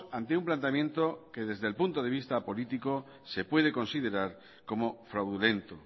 ante un planteamiento que desde el punto de vista político se puede considerar como fraudulento